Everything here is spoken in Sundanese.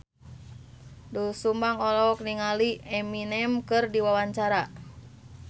Doel Sumbang olohok ningali Eminem keur diwawancara